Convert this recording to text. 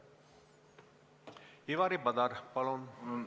Ivari Padar, palun!